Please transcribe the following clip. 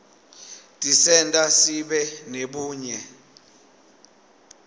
tisenta sibe nebunye